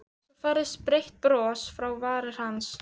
Svo færðist breitt bros fram á varir hans.